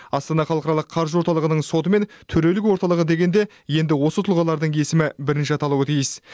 астана халықаралық қаржы орталығының соты мен төрелік орталығы дегенде енді осы тұлғалардың есімі бірінші аталуы тиіс